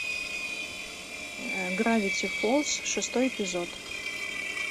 гравити фолз шестой эпизод